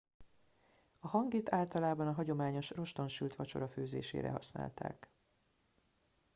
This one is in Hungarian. a hangit általában a hagyományos roston sült vacsora főzésére használták